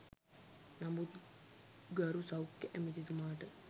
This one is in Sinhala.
නමුත් ගරු සෞඛ්‍ය ඇමතිතුමාට